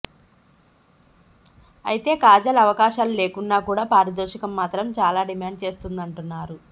అయితే కాజల్ అవకాశాలు లేకున్నా కూడా పారితోషికం మాత్రం చాలా డిమాండ్ చేస్తుందని అంటున్నారు